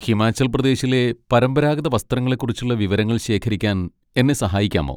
ഹിമാചൽപ്രദേശിലെ പരമ്പരാഗത വസ്ത്രങ്ങളെക്കുറിച്ചുള്ള വിവരങ്ങൾ ശേഖരിക്കാൻ എന്നെ സഹായിക്കാമോ?